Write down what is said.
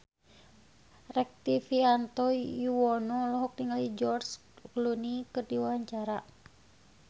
Rektivianto Yoewono olohok ningali George Clooney keur diwawancara